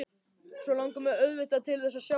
Svo langar mig auðvitað til þess að sjá þig.